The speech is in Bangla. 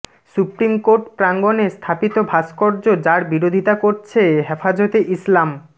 সুপ্রিম কোর্ট প্রাঙ্গণে স্থাপিত ভাস্কর্য যার বিরোধিতা করছে হেফাজতে ইসলাম